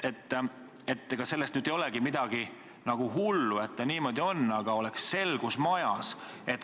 Ega sellest nüüd midagi hullu ei ole, et ta niimoodi on, aga selgus võiks majas olla.